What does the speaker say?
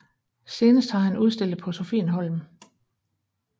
Senest har han udstillet på Sophienholm